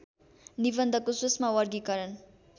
निबन्धको सूक्ष्म वर्गीकरण